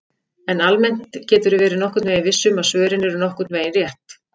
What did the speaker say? En almennt geturðu verið nokkurn veginn viss um að svörin eru nokkurn veginn rétt!